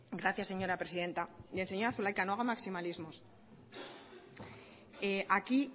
gracias señora presidenta y señora zulaika no hago maximalismos aquí